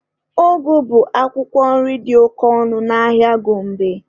Ụgụ bụ akwụkwọ nri dị oke ọnụ n'ahịa Gombe.